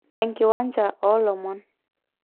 Enkiwanja oo lomon.